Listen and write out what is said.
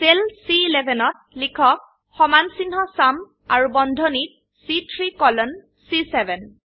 cell চি11 ত লিখক সমানচিহ্ন চুম আৰু বন্ধনীত চি3 কোলন চি7